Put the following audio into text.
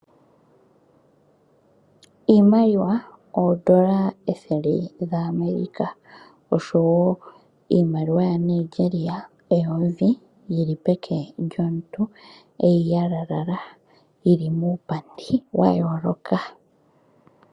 Iimaliwa oondola ethele dhaAmerica oshowo iimaliwa yaNigeria eyovi yili peke lyomuntu eyi yalalala yili muupandi wa yooloka.